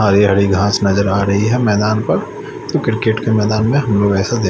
हरी हरी घास नजर आ रही है मैदान पर क्रिकेट के मैदान में हम लोग ऐसा दे--